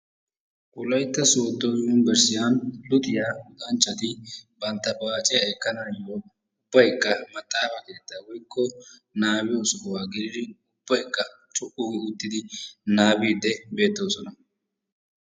Wolaytta sodo yunbrssiyan luxiyaa luxanchchati bantta paaciya ekanawu ubaykka maxaafa keetta woykko nababbiyo sohuwa gelidi ubbaykka co'u gi uttidi nababid beettosona.